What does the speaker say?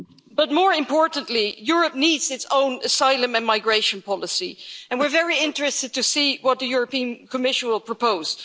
House. But, more importantly, Europe needs its own asylum and migration policy and we're very interested to see what the European Commission will propose.